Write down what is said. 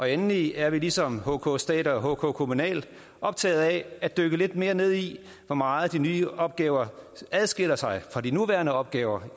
endelig er vi ligesom hk stat og hk kommunal optagede af at dykke lidt mere ned i hvor meget de nye opgaver adskiller sig fra de nuværende opgaver